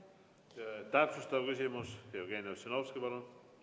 Täpsustav küsimus, Jevgeni Ossinovski, palun!